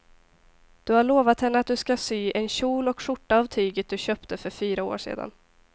Du har lovat henne att du ska sy en kjol och skjorta av tyget du köpte för fyra år sedan.